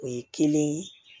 O ye kelen ye